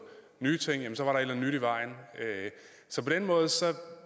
nye ting eller andet nyt i vejen så på den måde